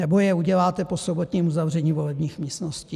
Nebo je uděláte po sobotním uzavření volebních místností?